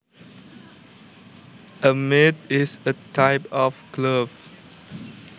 A mitt is a type of glove